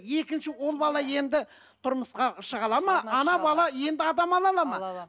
екінші ол бала енді тұрмысқа шыға алады ма ана бала енді адам ала алады ма